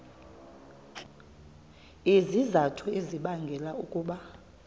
izizathu ezibangela ukuba